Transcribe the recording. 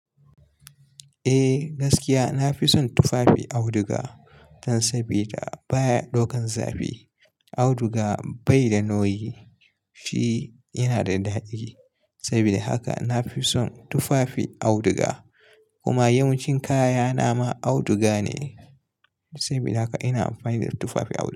Eh gaskiya, na fi son tufafi auduga dan sabida baya ɗaukan zafi. Auduga bai da noyi shi yana da daɗi. Sabida haka na fi son tufafin auduga. Kuma yawancin kaya na ma auduga ne, sabida haka ina amfani da tufafi auduga.